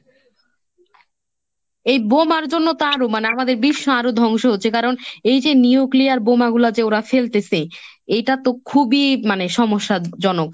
এই বোমার জন্য তো আরও মানে আমাদের বিশ্ব আরও ধ্বংস হচ্ছে কারণ এই যে Nuclear বোমাগুলো যে ওরা ফেলতেসে এইটা তো খুবই মানে সমস্যাজনক।